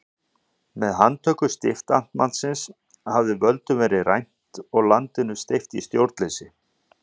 Með handtöku stiftamtmannsins hafði völdum verið rænt og landinu steypt í stjórnleysi.